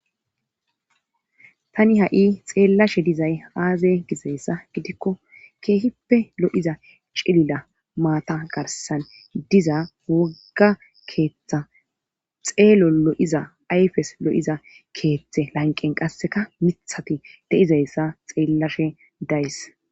tani ha'i xeellashe dizay aaze gizayssa gidikko keehippe lo'iza cilila maata garsan diza wogga keeththa xeelo lo'iza ayfes lo'iza keeththe lanqen qasseka mithati de'izayssa xeellashe days